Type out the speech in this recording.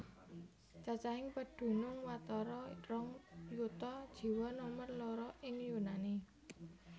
Cacahing pedunung watara rong yuta jiwa nomer loro ing Yunani